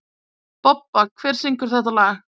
Bobba, hver syngur þetta lag?